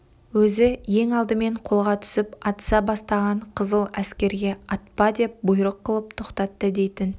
өзі ең алдымен қолға түсіп атыса бастаған қызыл әскерге атпа деп бұйрық қылып тоқтатты дейтін